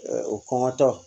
o kɔngɔtɔ